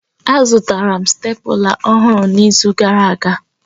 Azụtara m stépụla ọhụrụ n'izu gara aga